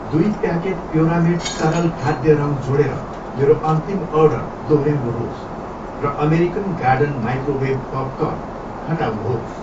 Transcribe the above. दुई प्याकेट प्योरामेट तरल खाद्य रङ जोडेर मेरो अन्तिम अर्डर दोहोऱ्याउनुहोस् र अमेरिकन गार्डन माइक्रोवेभ पपकर्न हटाउनुहोस्।